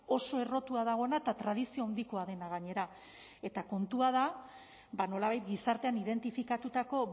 oso errotua dagoena eta tradizio handikoa dena gainera eta kontua da nolabait gizartean identifikatutako